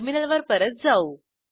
terminal वर परत जाऊ